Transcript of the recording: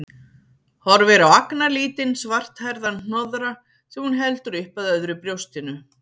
Horfir á agnarlítinn, svarthærðan hnoðra sem hún heldur upp að öðru brjóstinu.